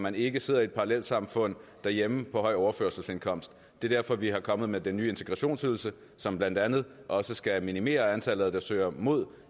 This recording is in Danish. man ikke sidder i et parallelsamfund derhjemme på høj overførselsindkomst det er derfor vi er kommet med den nye integrationsydelse som blandt andet også skal minimere antallet af asylansøgere der søger mod